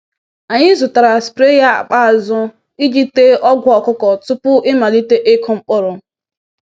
Anyị zụtara spraya akpa azụ iji tee ọgwụ ọkụkọ tupu ịmalite ịkụ mkpụrụ.